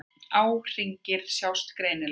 Árhringirnir sjást greinilega.